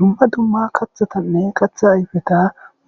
dumma dumma kathatanne qatha ayfeta